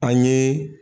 An ye